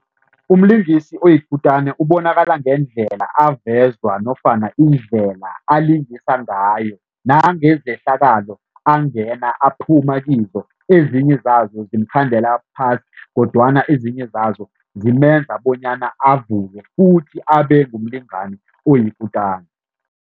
Umlingisi oyikutana ubonakala ngendlela avezwa nofana indlela alingisa ngayo nangezehlakalo angena aphuma kizo. Ezinye zazo zimkhandela phasi kodwana ezinye zazo zimenza bonyana avuke futhi abengumlingani oyikutani.